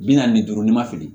Bi naani ni duuru n'i ma fili